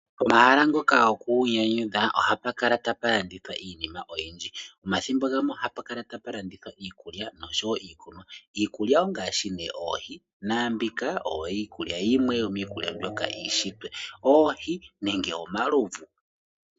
Pomahala ngoka goku inyanyudha ohapu kala tapu landithwa iinima oyindji. Omathimbo gamwe ohapu kala tapu landithwa iikulya osho woo iikunwa . niikulya ongaashi nee oohi. Naambika oyo yimwe yomiikulya mbyoka yuunshitwe oohi nenge omalovu.